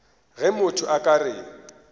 ge motho a ka re